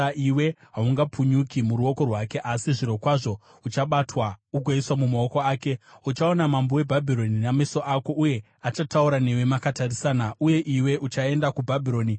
Iwe haungapukunyuki muruoko rwake asi zvirokwazvo uchabatwa ugoiswa mumaoko ake. Uchaona mambo weBhabhironi nameso ako, uye achataura newe makatarisana. Uye iwe uchaenda kuBhabhironi.